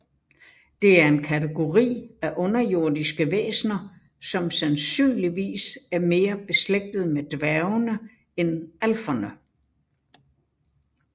Det er en kategori af underjordiske væsener som sandsynligvis er mere beslægtet med dværgene end alferne